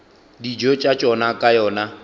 dijo tša tšona ka yona